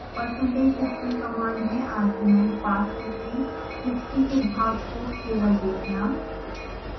percentage history command में argument pass करके history के भाग को केवल देखना